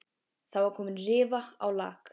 Það var komin rifa á lak.